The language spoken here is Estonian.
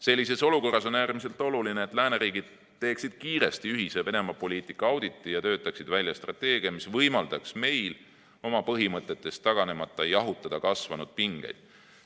Sellises olukorras on äärmiselt oluline, et lääneriigid teeksid kiiresti ühise Venemaa-poliitika auditi ja töötaksid välja strateegia, mis võimaldaks meil oma põhimõtetest taganemata jahutada kasvanud pingeid.